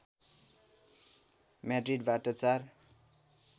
म्याड्रिडबाट चार